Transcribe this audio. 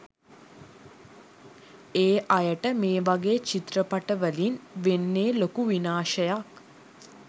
ඒ අයට මේ වගේ චිත්‍රපටවලින් වෙන්නෙ ලොකු විනාශයක්.